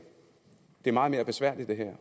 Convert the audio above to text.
det meget mere besværligt det